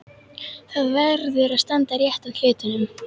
Það verður að standa rétt að hlutunum.